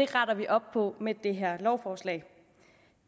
retter vi op på med det her lovforslag